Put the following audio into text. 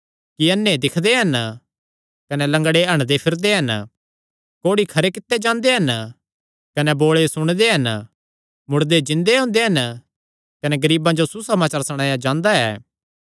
कि अन्ने दिक्खदे हन कने लंगड़े हंडदेफिरदे हन कोढ़ी खरे कित्ते जांदे हन कने बोल़े सुणदे हन मुड़दे जिन्दे हुंदे हन कने गरीबां जो सुसमाचार सणाया जांदा ऐ